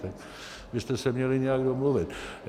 Tak byste se měli nějak domluvit.